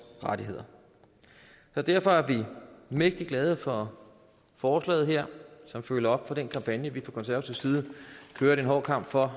rettigheder derfor er vi mægtig glade for forslaget her som følger op på den kampagne vi fra konservativ side kørte en hård kamp for